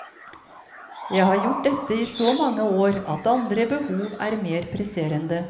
Jeg har gjort dette i så mange år at andre behov er mer presserende.